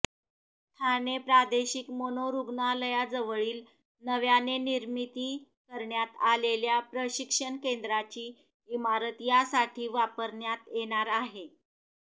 ठाणे प्रादेशिक मनोरुग्णालयाजवळील नव्याने निर्मिती करण्यात आलेल्या प्रशिक्षण केंद्राची इमारत यासाठी वापरण्यात येणार आहे